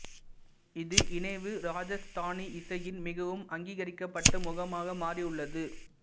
இது இணைவு ராஜஸ்தானி இசையின் மிகவும் அங்கீகரிக்கப்பட்ட முகமாக மாறியுள்ளது